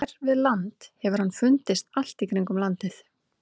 Hér við land hefur hann fundist allt í kringum landið.